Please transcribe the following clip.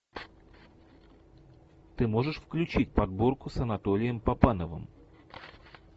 ты можешь включить подборку с анатолием папановым